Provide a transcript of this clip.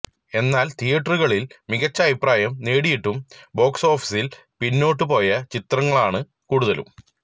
എന്നാല് തിയറ്ററുകളില് മികച്ച അഭിപ്രായം നേടിയിട്ടും ബോക്സോഫീസില് പിന്നോട്ട് പോയ ചിത്രങ്ങളാണ് കൂടുതലും